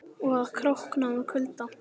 Og að krókna úr kulda.